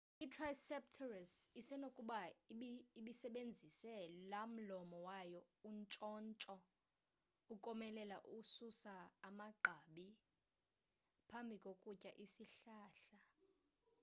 i-triceratops isenokuba ibisebenzise lamlomo wayo untshontsho ukomelela ukususa amagqabi phambi kokutya isihlahla